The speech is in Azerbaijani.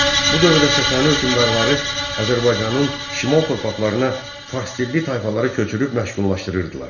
Bu dövrdə Sasani hökmdarları Azərbaycanın şimal torpaqlarına farsdilli tayfalara köçürüb məşğullaşdırırdılar.